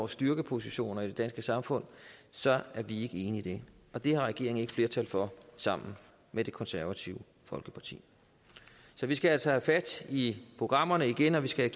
styrkeposition i det danske samfund så er vi ikke enige det har regeringen ikke flertal for sammen med det konservative folkeparti så vi skal altså have fat i programmerne igen og vi skal